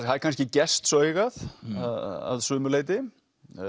það er kannski gestsaugað að sumu leyti